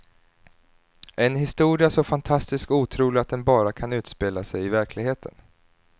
En historia så fantastisk och otrolig att den bara kan utspela sig i verkligheten.